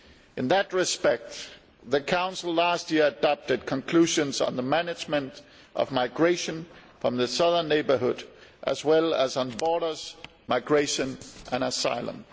In that respect, the Council adopted last year conclusions on the management of migration from the Southern Neighbourhood, as well as on borders, migration and asylum.